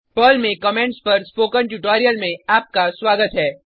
Perl में comments पर spoken tutorial में आपका स्वागत है